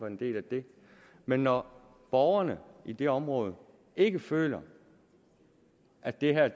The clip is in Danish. en del af det men når borgerne i det område ikke føler at det her